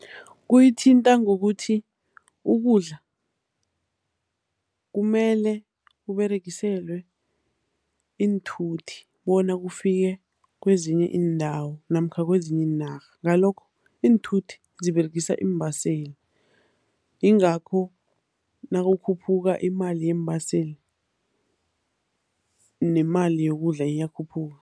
Kuyithinta ngokuthi ukudla kumele kuberegiselwe iinthuthi bona kufike kwezinye iindawo namkha ezinye iinarha, ngalokho iinthuthi ziberegisa iimbaseli yingakho nakukhuphuka imali yeembaseli, nemali yokudla iyakhuphuka.